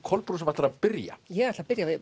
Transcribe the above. Kolbrún sem ætlar að byrja ég ætla að byrja